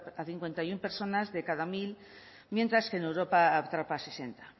a cincuenta y uno personas de cada mil mientras que en europa atrapa a sesenta